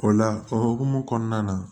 O la o hukumu kɔnɔna na